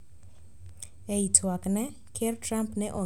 E i twakne, ker Trump ne ong`iyo ahinya gigo manie pinye